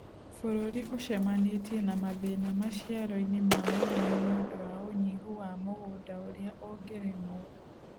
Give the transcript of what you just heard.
Bũrũri ũcemanĩtie na mathĩna maciaro-inĩ ma ũrĩmi nĩũdũ wa unyihũ wa mũgũnda ũrĩa ũngĩrĩmwo